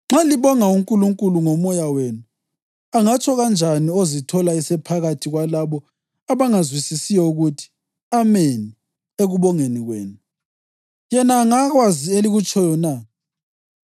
Nxa libonga uNkulunkulu ngomoya wenu, angatsho kanjani ozithola esephakathi kwalabo abangazwisisiyo ukuthi, “Ameni” ekubongeni kwenu, yena engakwazi elikutshoyo na?